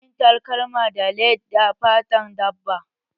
Ana yin takalma da lead da fatan dabba